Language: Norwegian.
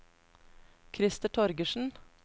Christer Torgersen